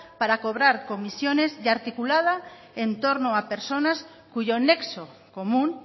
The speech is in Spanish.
para cobrar comisiones y articulada en torno a personas cuyo nexo común